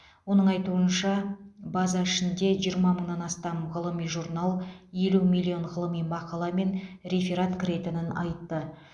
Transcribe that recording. оның айтуынша база ішінде жиырма мыңнан астам ғылыми журнал елу миллион ғылыми мақала мен реферат кіретінін айтты